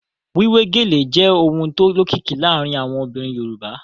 Wíwé gèlè jẹ́ ohun tó lókìkí láàárín àwọn obìnrin Yorùbá